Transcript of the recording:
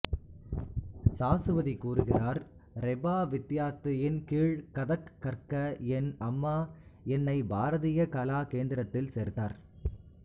சாசுவதி கூறுகிறார் ரெபா வித்யார்த்தியின் கீழ் கதக் கற்க என் அம்மா என்னை பாரதிய கலா கேந்திரத்தில் சேர்த்தார்